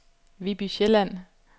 Viby Sjælland